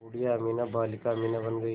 बूढ़िया अमीना बालिका अमीना बन गईं